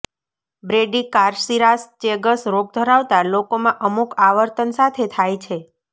બ્રેડીકાર્સીરાસ Chagas રોગ ધરાવતા લોકોમાં અમુક આવર્તન સાથે થાય છે